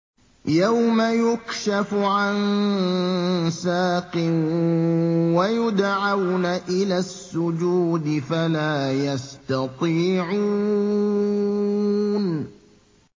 يَوْمَ يُكْشَفُ عَن سَاقٍ وَيُدْعَوْنَ إِلَى السُّجُودِ فَلَا يَسْتَطِيعُونَ